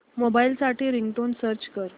mobile साठी ringtone search कर